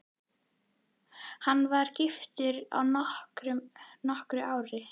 Ég var gift í nokkur ár.